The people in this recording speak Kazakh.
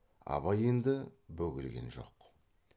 абай енді бөгелген жоқ